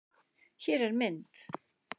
Hér er mynd